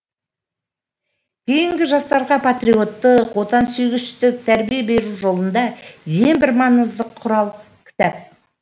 кейінгі жастарға патриоттық отансүйгіштік тәрбие беру жолында ең бір маңызды құрал кітап